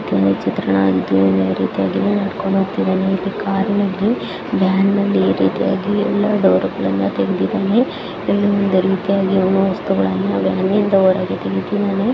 ಈ ಚಿತ್ರಣದಲ್ಲಿ ಯಾವ ರೀತಿಯಾಗಿ ನಡ್ಕೊಂಡ್ ಹೋಗ್ತಿದಾನೆ ವ್ಯಾನ್ ನಲ್ಲಿ ಎಲ್ಲ ಈ ರೀತಿಯಾಗಿ ಡೋರ್ ಗಳ್ನ ತೆಗ್ದಿದ್ದನೇ ಇಲ್ಲಿ ಒಂದು ರೀತಿಯಾಗಿ ವಸ್ತುಗಳನ್ನು ಅಂಗಡಿ ಇಂದ ಹೊರಗೆ ಇಟ್ಟಿದಾನೆ .